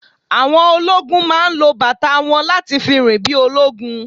Àwọn ológún máa lo bàtà wọn láti fi rìn bí ológun